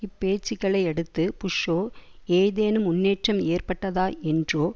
இப்பேச்சுக்களையடுத்து புஷ்ஷோ ஏதேனும் முன்னேற்றம் ஏற்பட்டதா என்றோ